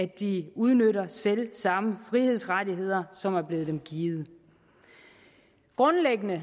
de udnytter selv samme frihedsrettigheder som er blevet dem givet grundlæggende